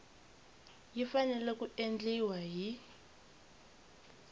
yi fanele ku endliwa hi